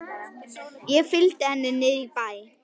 Ég fylgi henni niður í bæ.